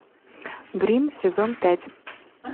грим сезон пять